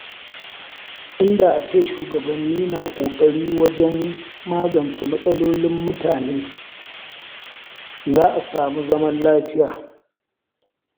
Inda ace shugabanni na ƙoƙari wajen magance matsalolin mutane, za a samu zaman lafiya.